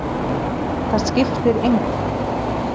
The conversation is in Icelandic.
Það skiptir engu